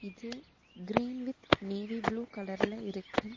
இது green with navy blue கலர்ல இருக்கு.